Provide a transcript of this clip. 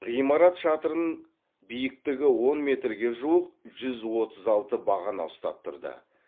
ғимарат шатырын биіктігі он метрге жуық жүз отыз алты бағана ұстап тұрды